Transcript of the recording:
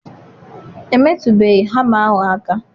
Emetụbeghị hama ahụ aka.